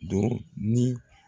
Don ni